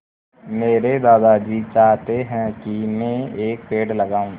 मेरे दादाजी चाहते हैँ की मै एक पेड़ लगाऊ